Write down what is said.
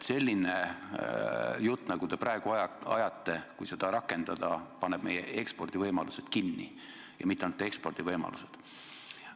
Selline jutt, mida te praegu rääkisite – kui seda rakendada, siis on meie ekspordivõimalused kinni, ja mitte ainult ekspordivõimalused.